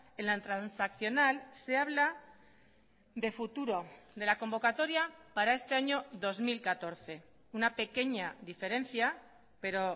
en la transaccional se habla de futuro de la convocatoria para este año dos mil catorce una pequeña diferencia pero